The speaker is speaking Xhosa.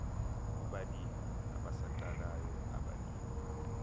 kubalimi abasaqalayo abalimi